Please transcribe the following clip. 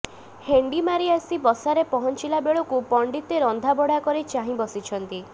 ହେଣ୍ଡି ମାରି ଆସି ବସାରେ ପହଞ୍ଚିଲା ବେଳକୁ ପଣ୍ଡିତେ ରନ୍ଧାବଢ଼ା କରି ଚାହିଁ ବସିଛନ୍ତି